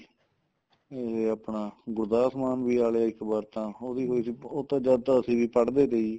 ਉਰੇ ਆਪਣਾ ਗੁਰਦੁਵਾਰਾ ਸਮਾਨ ਵੀ ਵਾਲੇ ਏ ਇੱਕ ਵਾਰ ਤਾਂ ਉਦੋਂ ਹੋਈ ਸੀ ਉਦੋਂ ਤਾਂ ਜਦ ਤਾਂ ਅਸੀਂ ਵੀ ਪੜ੍ਹਦੇ ਤੇ ਜੀ